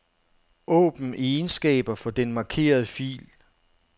Åbn egenskaber for den markerede fil.